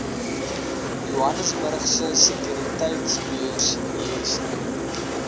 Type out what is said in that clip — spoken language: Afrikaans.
johannesburgse sekuriteitebeurs jse